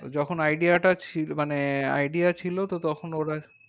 তো যখন idea টা ছিল মানে idea ছিল তো তখন ওরা